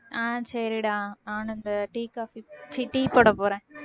ஆஹ் சரிடா நானும் இந்த tea, coffee ச்சீ tea போட போறேன்